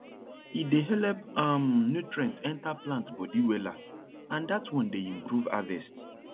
e dey help um nutrient enter plant body wella and dat one dey improve harvest